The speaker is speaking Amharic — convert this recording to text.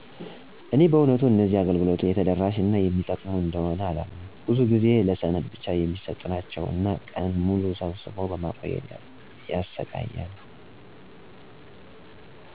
እኔ በእውነቱ እነዚህ አገልግሎቶች የተደራሽ እና የሚጠቅሙ እንደሆነ አላምንም፤ ብዙው ጊዜ ለሰነድ ብቻ የሚሰጡ ናቸው እና ቀን ሙሉ ሰብስቦ በማቆየት ያሰቃያሉ።